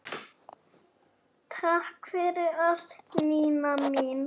Takk fyrir allt, Nína mín.